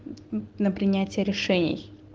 на принятие решений